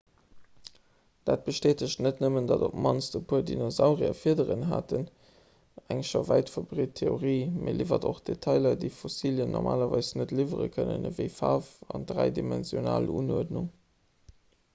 dat bestätegt net nëmmen datt op d'mannst e puer dinosaurier fiederen haten eng scho wäit verbreet theorie mee liwwert och detailer déi fossilien normalerweis net liwwere kënnen ewéi faarf an dräidimensional unuerdnung